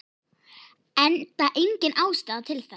Enda engin ástæða til þess.